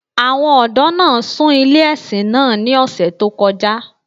Àwọn ọdọ̀ naa ṣúń ilẹ̀-ẹ̀ṣin naa ní òṣè tó kọ́ja